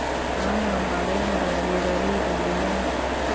Caanaha waxaa laga helaa beeralayda deegaanka.